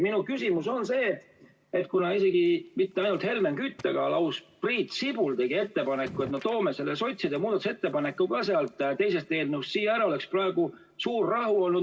Minu küsimus on see, et kuna mitte ainult Helmen Kütt, vaid lausa Priit Sibul tegi ettepaneku, et me tooksime ka sotsiaaldemokraatide muudatusettepaneku sealt teisest eelnõust siia üle, siis oleks praegu juba suur rahu olnud.